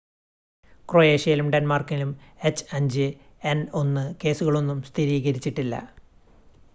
ക്രൊയേഷ്യയിലും ഡെൻമാർക്കിലും എച്ച്5എൻ1 കേസുകളൊന്നും സ്ഥിരീകരിച്ചിട്ടില്ല